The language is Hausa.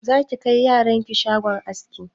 Za ki kai yaran ki shagon askin?